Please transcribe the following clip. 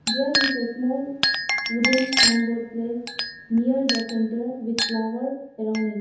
there is a small wooden sign board place near the center with flower around it.